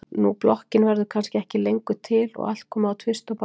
Nú blokkin verður kannski ekki lengur til og allt komið á tvist og bast.